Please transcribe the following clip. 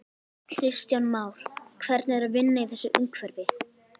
Kristján Már: Hvernig er að vinna í þessu umhverfi?